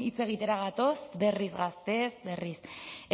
hitz egitera gatoz berriz gazteez berriz